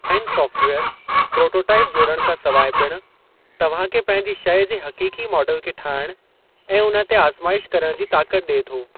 Design सॉफ़्टवेयरु prototype जोड़ण खां सिवाइ पिणु तव्हां खे पंहिंजी शइ जे हक़ीक़ी मॉडल खे ठाहण ऐं उन्हे ते आज़्माइश करण जी ताकत ॾिए थो।